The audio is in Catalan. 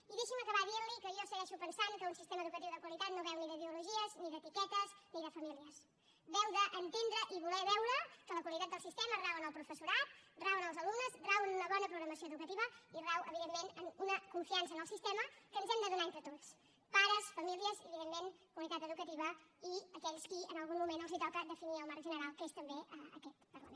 i deixi’m acabar dient li que jo segueixo pensant que un sistema educatiu de qualitat no beu ni d’ideologies ni d’etiquetes ni de famílies beu d’entendre i voler veure que la qualitat del sistema rau en el professorat rau en els alumnes rau en una bona programació educativa i rau evidentment en una confiança en el sistema que ens hem de donar entre tots pares famílies i evidentment comunitat educativa i aquells qui en algun moment els toca definir el marc general que és també aquest parlament